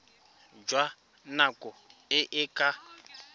jwa nako e e ka